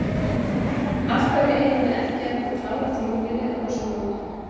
Af hverju eigum við ekki að geta klárað tímabilið á þessum nótum?